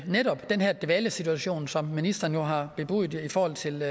netop den her dvalesituation som ministeren jo har bebudet i forhold til